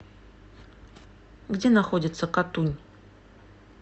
где находится катунь